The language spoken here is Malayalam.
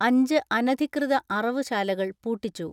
അഞ്ച് അനധികൃത അറവു ശാലകൾ പൂട്ടിച്ചു.